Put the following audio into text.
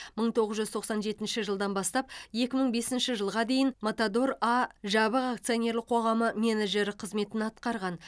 мың тоғыз жүз тоқсан жетінші жылдан бастап екі мың бесінші жылға дейін матадор а жабық акционерлік қоғамы менеджері қызметін атқарған